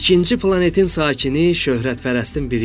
İkinci planetin sakini şöhrətpərəstin biri idi.